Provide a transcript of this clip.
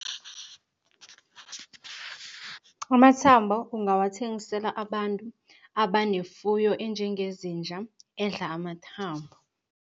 Amathambo ungawathengisela abantu abanefuyo enjengezinja, edla amathambo.